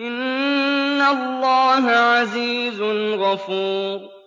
إِنَّ اللَّهَ عَزِيزٌ غَفُورٌ